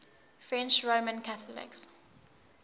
french roman catholics